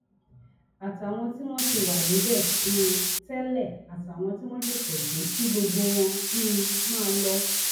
àtàwọn tí wọn ti wà níbẹ um tẹlẹ àtàwọn tí wọn ṣẹṣẹ dé kí gbogbo wọn um máa lọ